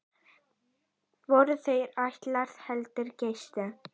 Voru þær ætlaðar heldri gestum.